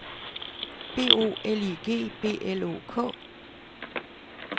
B O L I G B L O K